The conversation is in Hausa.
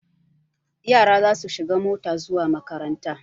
Yara za su shiga mota zuwa makaranta.